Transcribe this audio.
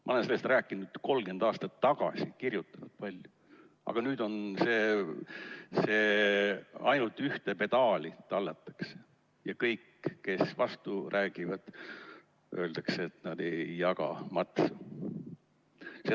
Ma olen sellest rääkinud 30 aastat tagasi, kirjutanud palju, aga nüüd tallatakse ainult ühte pedaali ja kõik, kes vastu räägivad, neile öeldakse, et nad ei jaga matsu.